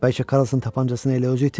Bəlkə Karlson tapancasını elə özü itirib?